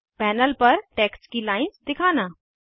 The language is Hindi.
पैनल पर टेक्स्ट की लाइन्स दिखाना